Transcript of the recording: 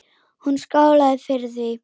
Hún skálaði fyrir því.